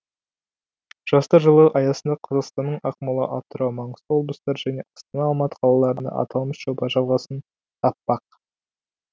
жастар жылы аясында қазақстанның ақмола атырау маңғыстау облыстары және астана алматы қалаларында аталмыш жоба жалғасын таппақ